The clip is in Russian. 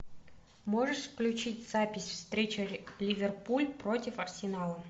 можешь включить запись встречи ливерпуль против арсенала